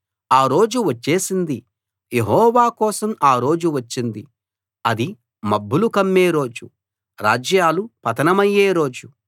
ఆ రోజు వచ్చేసింది యెహోవా కోసం ఆ రోజు వచ్చింది అది మబ్బులు కమ్మే రోజు రాజ్యాలు పతనమయ్యే రోజు